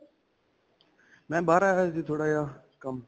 ਮੈਂ ਬਾਹਰ ਆਇਆ ਹੋਇਆ ਸੀ, ਥੋੜਾ ਜਿਹਾ ਕੰਮ.